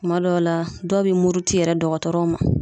Kuma dɔw la dɔw be muruti yɛrɛ dɔgɔtɔrɔ ma